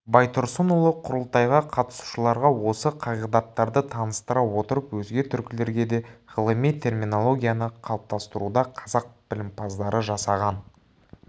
байтұрсынұлы құрылтайға қатынасушыларға осы қағидаттарды таныстыра отырып өзге түркілерге де ғылыми терминологияны қалыптастыруда қазақ білімпаздары жасаған